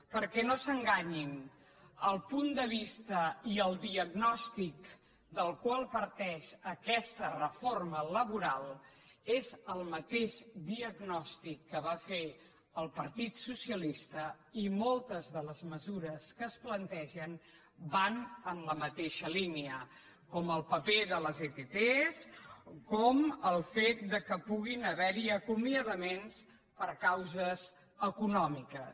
perquè no s’enganyin el punt de vista i el diagnòstic del qual parteix aquesta reforma laboral és el mateix diagnòstic que va fer el partit socialista i moltes de les mesures que es plantegen van en la mateixa línia com el paper de les ett com el fet que puguin haver hi acomiadaments per causes econòmiques